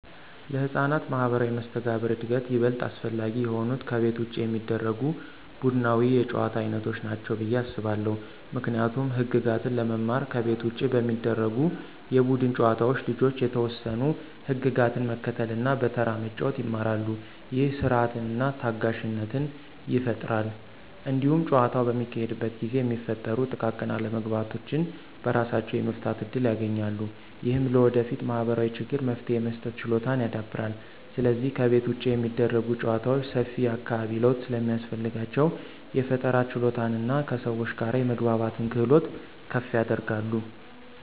ለሕፃናት ማኅበራዊ መስተጋብር እድገት ይበልጥ አስፈላጊ የሆኑት ከቤት ውጭ የሚደረጉ ቡድናዊ የጨዋታ ዓይነቶች ናቸው ብዬ አስባለሁ። ምክንያቱም ህግጋትን ለመማር ከቤት ውጭ በሚደረጉ የቡድን ጨዋታዎች ልጆች የተወሰኑ ህግጋትን መከተልና በተራ መጫወት ይማራሉ። ይህ ሥርዓትንና ታጋሽነትን ይፈጥራል። እንዲሁም ጨዋታው በሚካሄድበት ጊዜ የሚፈጠሩ ጥቃቅን አለመግባባቶችን በራሳቸው የመፍታት እድል ያገኛሉ። ይህም ለወደፊት ማኅበራዊ ችግሮች መፍትሄ የመስጠት ችሎታን ያዳብራል። ስለዚህ ከቤት ውጭ የሚደረጉ ጨዋታዎች ሰፊ የአካባቢ ለውጥ ስለሚያስፈልጋቸው፣ የፈጠራ ችሎታንና ከሰዎች ጋር የመግባባትን ክህሎት ከፍ ያደርጋሉ።